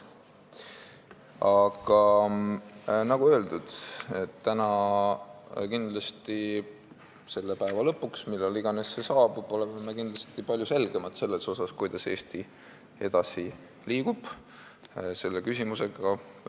Aga nagu öeldud, kindlasti on tänase päeva lõpuks, millal iganes see saabub, palju selgem see, kuidas Eesti selle küsimusega edasi liigub.